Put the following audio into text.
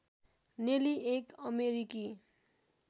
नेली एक अमेरिकी